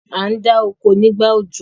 a ndá oko nígbà òjò.